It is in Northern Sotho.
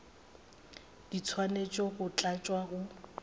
di swanetše go tlatšwa go